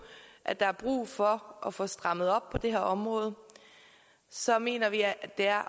at der er brug for at få strammet op på det her område så mener vi at det er